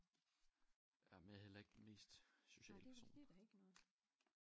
Ja men jeg heller ikke den mest sociale person